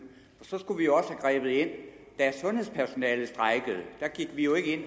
så skulle vi jo også have grebet ind da sundhedspersonalet strejkede da gik vi jo ikke